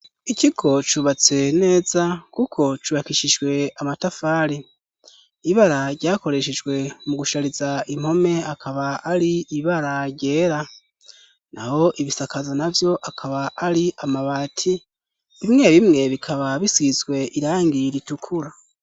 Ikigo cubatse neza kuko cubakishijwe amatafari. Ibara ryakoreshejwe mu gushariza impome akaba ari ibara ryera. Naho ibisakazo na vyo akaba ari amabati bimwe bimwe bikaba bisizwe irangi ritukura.